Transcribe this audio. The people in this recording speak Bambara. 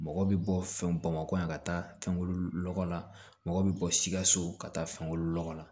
Mɔgɔ bɛ bɔ fɛn bamakɔ yan ka taa fɛnw lɔgɔ la mɔgɔ bɛ bɔ sikaso ka taa fɛnko lɔgɔ la